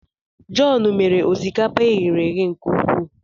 John mere osikapa e ghere eghe nke ukwuu